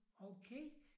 Okay